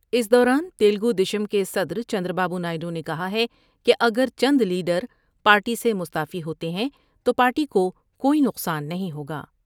اس دوران تیلگو دیشم کے صدر Chandrababu Naidu نے کہا ہے کہ اگر چندلیڈر پارٹی سے مستعفی ہوتے ہیں تو پارٹی کو کوئی نقصان نہیں ہوگا ۔